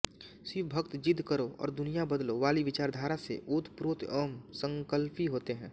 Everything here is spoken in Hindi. शिव भक्त जिद्द करो और दुनिया बदलो वाली विचारधारा से ओतप्रोत व संकल्पी होते हैं